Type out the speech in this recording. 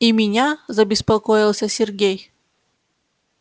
и меня забеспокоился сергей